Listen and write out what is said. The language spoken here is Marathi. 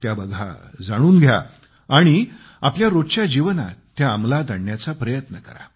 त्या बघा जाणून घ्या आणि आपल्या रोजच्या जीवनात त्या अंमलात आणण्याचा प्रयत्न करा